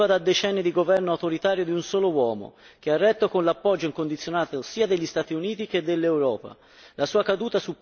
L'Egitto veniva da decenni di governo autoritario di un solo uomo, che ha retto con l'appoggio incondizionato sia degli Sati Uniti che dell'Europa.